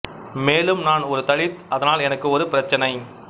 மேலும் நான் ஒரு தலித் அதனால் எனக்கு ஒரு பிரச்சனை